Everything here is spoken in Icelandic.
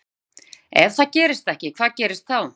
Guðný: Ef það gerist ekki, hvað gerist þá?